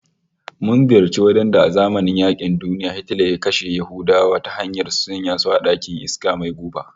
Mun ziyarci wajen da a zamanin yaƙin duniya Hitler ya kashe Yahudawa ta hanyar sanya su a ɗakin iska mai guba